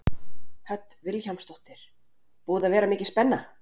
Hödd Vilhjálmsdóttir: Búið að vera mikil spenna?